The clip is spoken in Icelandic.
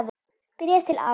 Bréf til afa.